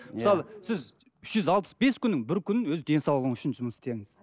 мысалы үш жүз алпыс бес күннің бір күнін өз денсаулығыңыз үшін жұмыс істеңіз